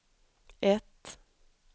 ett